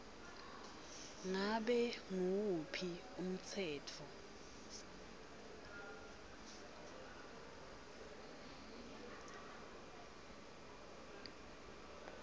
ngabe nguwuphi umtsetfo